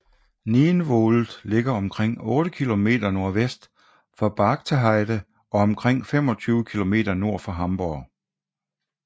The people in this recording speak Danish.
Nienwohld ligger omkring otte kilometer nordvest for Bargteheide og omkring 25 km nord for Hamborg